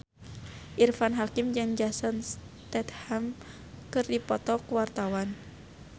Irfan Hakim jeung Jason Statham keur dipoto ku wartawan